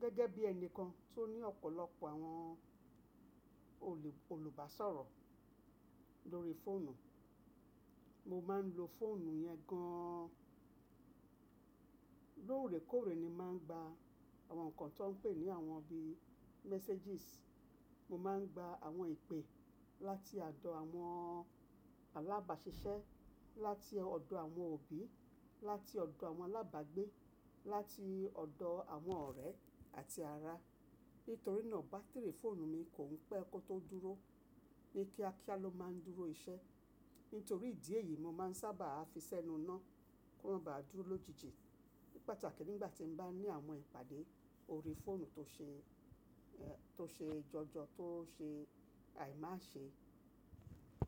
Gẹ́gẹ́ bí ẹni kan tó ní ọ̀pọ̀lọpọ̀ àwọn olùbáṣọ̀rọ̀ lórí fóònù, mo máa ń lo fóònù yẹn gannn. Lóòrèkóòrè ni màá ń gba àwọn nǹkan tó ń pè ní àwọn bíi messages. Mo máa ń gba àwọn ìpè láti ọ̀dọ̀ àwọn alábàáṣiṣẹ́, láti ọ̀dọ̀ àwọn òbí, láti ọ̀dọ̀ àwọn alábàgbé, láti ọ̀dọ̀ àwọn ọ̀rẹ́ àti ara. Nítorí náà bátìrì fóònù mi kò pẹ́ kó tó dúró. Ni kíákíá ló máa ń dúró iṣẹ́. Nítorí ìdí èyí, mo máa ń sábà fi sẹ́nu iná kí ó máa ba dúró lójijì. Ní pàtàkì nígbà tí mo bá ní àwọn ìpàdé ori fónù tó ṣe, tó ṣe jọjọ tó ṣe àìmáṣe.